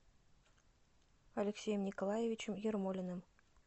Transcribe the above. алексеем николаевичем ермолиным